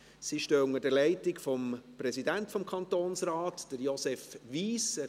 Sie sind unter der Leitung des Präsidenten des Kantonsrates, Josef Wyss.